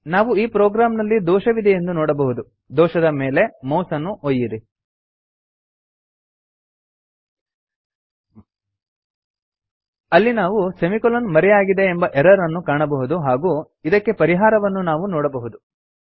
ನಾವು ಈ ಪ್ರೊಗ್ರಾಮ್ ನಲ್ಲಿ ದೋಷವಿದೆಯೆಂದು ನೋಡಬಹುದು ದೋಷದ ಮೇಲೆ ಮೌಸ್ ಅನ್ನು ಒಯ್ಯಿರಿ ಅಲ್ಲಿ ನಾವು ಸೆಮಿಕೊಲನ್ ಮರೆಯಾಗಿದೆ ಎಂಬ ಎರರ್ ಅನ್ನು ಕಾಣಬಹುದು ಹಾಗೂ ಇದಕ್ಕೆ ಪರಿಹಾರವನ್ನೂ ನಾವು ನೋಡಬಹುದು